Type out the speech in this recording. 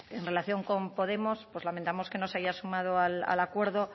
en relación con podemos pues lamentamos que no se haya sumado al acuerdo